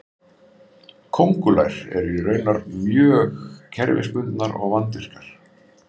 köngulær eru raunar mjög kerfisbundnar og vandvirkar